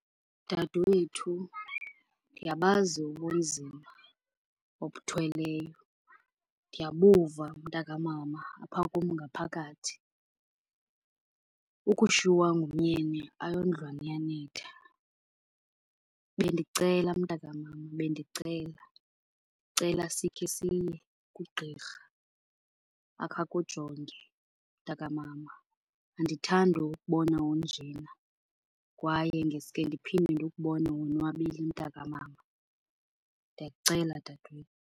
Dadewethu, ndiyabazi ubunzima obuthweleyo, ndiyabuva mntakamama apha kum ngaphakathi. Ukushiywa ngumyeni ayondlwane iyanetha. Bendicela mntakamama, bendicela, ndicela sikhe siye kugqirha akhe akujonge mntakamama. Andithandi ukubona unjena kwaye ndiske ndiphinde ndikubone wonwabile mntakamama. Ndiyakucela, dadewethu.